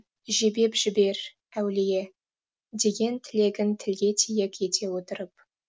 жебеп жібер әулие деген тілегін тілге тиек ете отырып